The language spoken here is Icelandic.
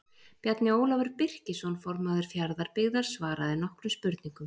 Bjarni Ólafur Birkisson formaður Fjarðabyggðar svaraði nokkrum spurningum.